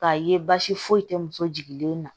K'a ye basi foyi tɛ muso jigilen na